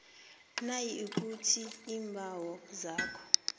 nayikuthi iimbawo zakho